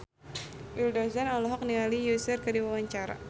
Willy Dozan olohok ningali Usher keur diwawancara